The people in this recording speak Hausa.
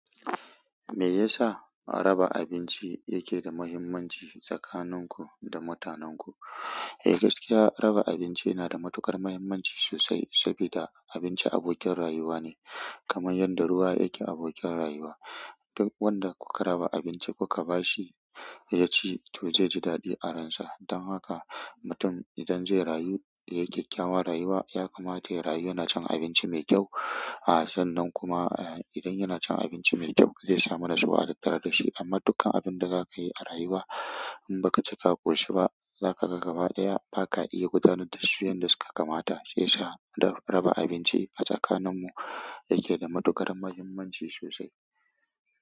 Me yasa raba abinci yake da muhimmanci tsakanin ku da mutanenku? Eh, gaskiya raba abinci yana da matuƙar muhimmanci sosai saboda abinci abokin rayuwa ne, kamar yadda ruwa yake abokin rayuwa. Duk wanda kuka raba abinci kuka bashi ya ci to zai ji daɗi a ransa don haka mutum idan zai rayu, ya yi kyakkyawan rayuwa, ya kamata ya rayu yana cin abinci mai kyau. A san nan kuma, eh, idan yana cin abinci mai kyau zai samu natsuwa a tattare da shi. Amma dukkan abun da za ka yi a rayuwa in ba ka ci ka ƙoshi ba, za ka ga gaba ɗaya ba ka iya gudanar da su yanda suka kamata. Shi ya sa raba abinci a tsakaninmu yake da matuƙar muhimmanci sosai.